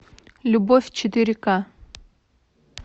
любовь четыре ка